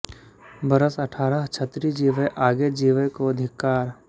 बरस अठारह क्षत्री जीवै आगे जीवै को धिक्कार